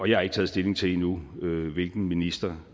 jeg har ikke taget stilling til endnu hvilken ministeren